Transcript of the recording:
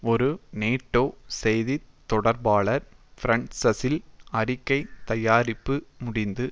ஒரு நேட்டோ செய்தி தொடர்பாளர் பிரஸ்ஸல்ஸில் அறிக்கைத் தயாரிப்பு முடிந்து